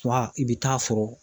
Wa i bɛ taa sɔrɔ